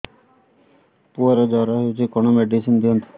ପୁଅର ଜର ହଉଛି କଣ ମେଡିସିନ ଦିଅନ୍ତୁ